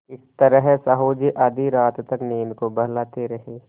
इस तरह साहु जी आधी रात तक नींद को बहलाते रहे